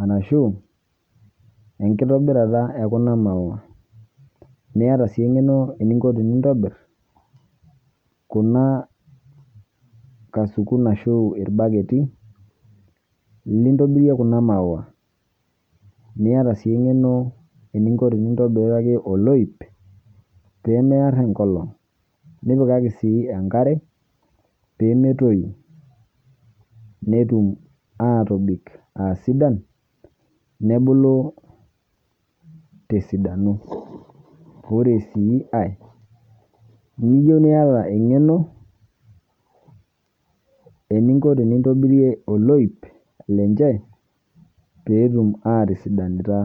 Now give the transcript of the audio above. arashuu enkitobirata e kuna maua. Niata sii eng'eno eninko tenintobirr kuna kasukun ashuu ilbaketi lintobirie kuna maua. Niata sii eng'eno eninko tenintobiraki oloip peemearr enkolong', nipikaki sii enkare peemetoyu netum aatobik aasidan nebulu tesidano. Oree sii ai niyou niata eng'eno eninko tenintobirie oloip lenche peetum atisidanita.